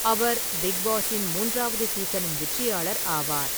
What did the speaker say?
அவர் big பாஸின் மூன்றாவது சீசனின் வெற்றியாளர் ஆவார்.